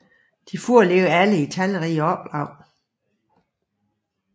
De foreligger alle i talrige oplag